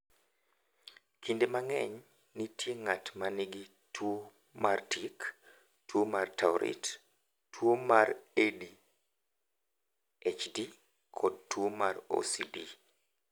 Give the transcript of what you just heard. "Kinde mang’eny, nitie ng’at ma nigi tuwo mar tik, tuwo mar Tourette, tuwo mar ADHD, kod tuwo mar OCD."